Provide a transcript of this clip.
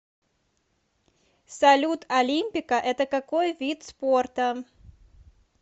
салют олимпико это какой вид спорта